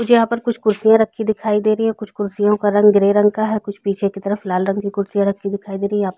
कुछ यहाँ पर कुछ कुर्सियाँ रखी दिखाई दे रही है कुछ कुर्सियों का रंग ग्रे रंग का है कुछ पीछे की तरफ लाल रंग की कुर्सियाँ रखी दिखाई दे रही है यहाँ पर --